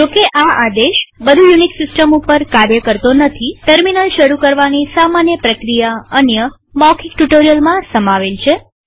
જોકે આ આદેશ બધી યુનિક્સ સિસ્ટમ ઉપર કાર્ય કરતો નથીટર્મિનલ શરુ કરવાની સામાન્ય પ્રક્રિયા અન્ય મૌખિક ટ્યુ્ટોરીઅલમાં સમજાવેલ છે